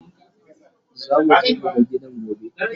zamu je mu ga gidan gobe